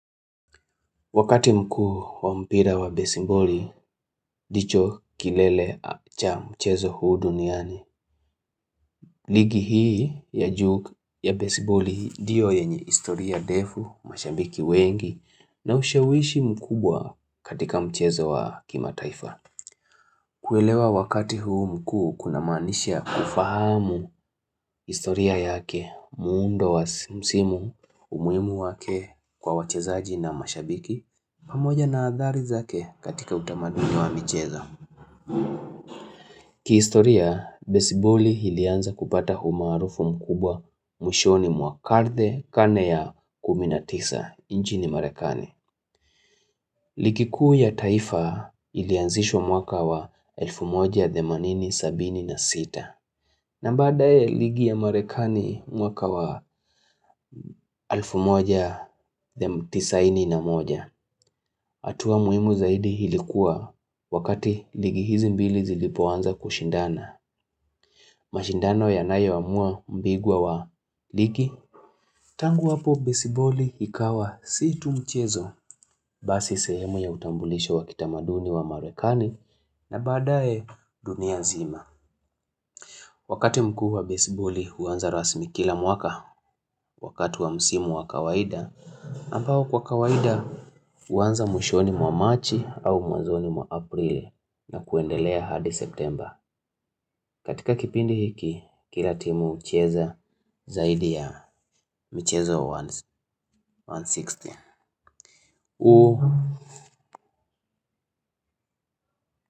Wakati mkuu wa mpira wa besiboli, ndicho kilele cha mchezo huu duniani. Ligi hii ya juu ya besiboli ndiyo yenye historia ndefu, mashabiki wengi, na ushawishi mkubwa katika mchezo wa kimataifa. Kuelewa wakati huu mkuu kunamaanisha kufahamu historia yake, muundo wa msimu, umuhimu wake kwa wachezaji na mashabiki. Pamoja na athari zake katika utamaduni wa michezo. Kihistoria, besiboli ilianza kupata umaarufu mkubwa mwishoni mwa karne karne ya kumi na tisa nchini Marekani ligi kuu ya taifa ilianzishwa mwaka wa elfu moja, themanini, sabini na sita na baadaye ligi ya Marekani mwaka wa elfu moja, tisaini na moja. Hatua muhimu zaidi oilikuwa wakati ligi hizi mbili zilipoanza kushindana. Mashindano yanayoamua mbingwa wa ligi. Tangu hapo besiboli ikawa si tu mchezo basi sehemu ya utambulisho wa kitamaduni wa marekani na baadaye dunia nzima. Wakati mkuu wa besiboli huanza rasmi kila mwaka wakati wa msimu wa kawaida. Ambao kwa kawaida huanza mwishoni mwa Marchi au mwazoni mwa Aprili na kuendelea hadi September. Katika kipindi hiki kila timu hucheza zaidi ya mchezo wa 160.